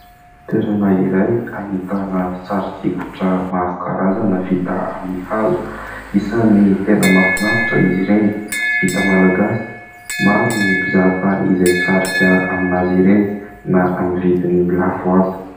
Toerana iray hahitana sarisikotra maro karazana vita amin'ny hazo. Isany tena mafinaritra izy ireny, vita malagasy. Maro ny mpizahatany izay sarika amin'azy ireny na amin'ny vidiny lafo aza.